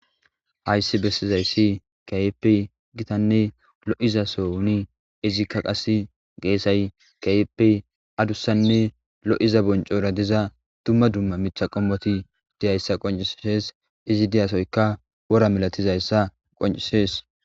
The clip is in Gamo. Hayssi bessizayssi kayepi gitanne lo7iza souni izikka qas geesay kayeppe adussanne lo7iza boncora diza dumma dumma mitha qommoti diyayssa qoncisees izi diyasoyka wora milatizayssa qoncisees